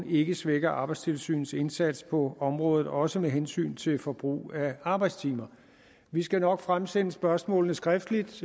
ikke svækker arbejdstilsynets indsats på området også med hensyn til forbrug af arbejdstimer vi skal nok fremsende spørgsmålene skriftligt